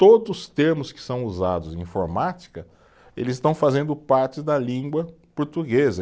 Todos termos que são usados em informática, eles estão fazendo parte da língua portuguesa.